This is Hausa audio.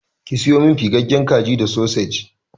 Ki sayo min fiffigen kaji da sosej.